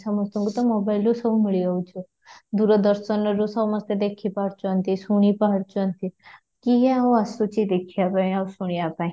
ସମସ୍ତଙ୍କୁ ତ mobile ରୁ ସବୁ ମିଳି ଯାଉଛି, ଦୂରଦର୍ଶନରୁ ସମସ୍ତେ ଦେଖି ପାରୁଛନ୍ତି ଶୁଣି ପାରୁଛନ୍ତି, କିଏ ଆଉ ଆସୁଛି ଦେଖିବା ପାଇଁ ଆଉ ଶୁଣିବା ପାଇଁ